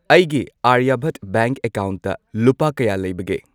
ꯑꯩꯒꯤ ꯑꯥꯔꯌꯥꯚꯠ ꯕꯦꯡꯛ ꯑꯦꯀꯥꯎꯟꯠꯇ ꯂꯨꯄꯥ ꯀꯌꯥ ꯂꯩꯕꯒꯦ?